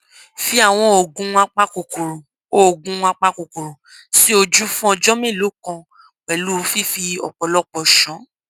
fi àwọn oògùn apakòkòrò oògùn apakòkòrò sí ojú fún ọjọ mélòó kan pẹlú fífi ọpọlọpọ ṣàn